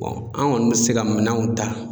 an kɔni bɛ se ka minɛnw ta.